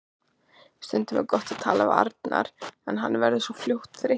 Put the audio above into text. Stundum er gott að tala við Arnar en hann verður svo fljótt þreyttur.